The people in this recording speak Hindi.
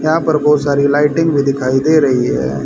यहां पर बहोत सारी लाइटिंग भी दिखाई दे रही है।